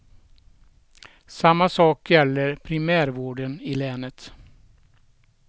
Samma sak gäller primärvården i länet.